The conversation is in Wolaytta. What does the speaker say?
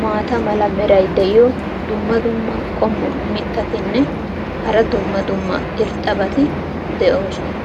maata mala meray diyo dumma dumma qommo mitattinne hara dumma dumma irxxabati de'oosona.